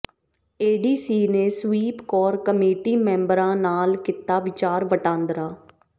ADC ਨੇ SVEEP core committee ਮੈਂਬਰਾਂ ਨਾਲ ਕੀਤਾ ਵਿਚਾਰ ਵਟਾਂਦਰਾ